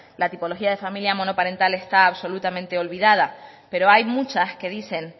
la tipología de familia monoparental está absolutamente olvidada pero hay muchas que dicen